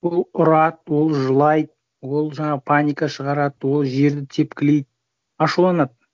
ол ұрады ол жылайды ол жаңағы паника шығарады ол жерді тепкілейді ашуланады